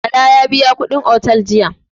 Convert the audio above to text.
Bala ya biya kuɗin otel din jiya.